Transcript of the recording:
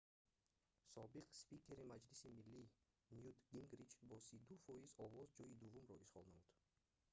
собиқ спикери маҷлиси миллӣ нют гингрич бо 32 фоиз овоз ҷои дуввумро ишғол намуд